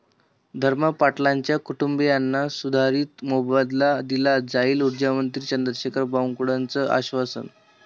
धर्मा पाटलांच्या कुटुंबीयांना सुधारित मोबदला दिला जाईल, उर्जामंत्री चंद्रशेखर बावनकुळेंचं आश्वासन